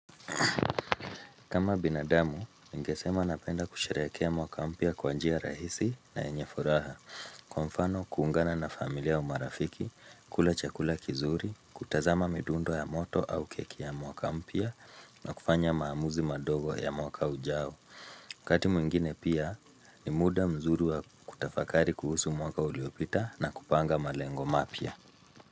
Kama binadamu, ningesema napenda kusherekea mwaka mpya kwa njia rahisi na yenye furaha. Kwa mfano, kuungana na familia au marafiki, kula chakula kizuri, kutazama midundo ya moto au keki ya mwaka mpya, na kufanya maamuzi madogo ya mwaka ujao. Wakati mwengine pia, ni muda mzuri wa kutafakari kuhusu mwaka uliopita na kupanga malengo mapya.